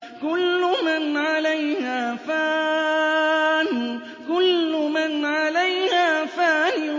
كُلُّ مَنْ عَلَيْهَا فَانٍ